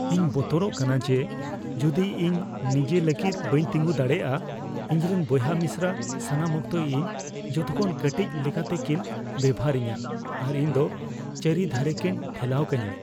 ᱤᱧ ᱵᱚᱛᱚᱨᱚᱜ ᱠᱟᱱᱟ ᱡᱮ ᱡᱩᱫᱤ ᱤᱧ ᱱᱤᱡᱟᱹ ᱞᱟᱹᱜᱤᱫ ᱵᱟᱹᱧ ᱛᱮᱸᱜᱚ ᱫᱟᱲᱮᱭᱟᱜᱼᱟ, ᱤᱧᱨᱮᱱ ᱵᱚᱭᱦᱟᱼᱢᱤᱥᱨᱟ ᱥᱟᱱᱟᱢ ᱚᱠᱛᱚ ᱤᱧ ᱡᱚᱛᱚᱠᱷᱚᱱ ᱠᱟᱹᱴᱤᱡ ᱞᱮᱠᱟᱛᱮᱠᱤᱱ ᱵᱮᱵᱚᱦᱟᱨᱤᱧᱟ ᱟᱨ ᱤᱧ ᱫᱚ ᱪᱟᱹᱨᱤ ᱫᱷᱟᱨᱮᱠᱤᱱ ᱴᱷᱮᱞᱟᱣ ᱠᱟᱹᱧᱟ ᱾